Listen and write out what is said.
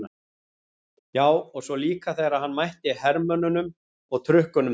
Já, og svo líka þegar hann mætti hermönnunum og trukkunum þeirra.